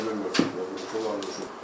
Bunlar problem yoxdur.